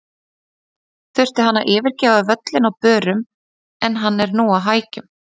Þurfti hann að yfirgefa völlinn á börum en hann er nú á hækjum.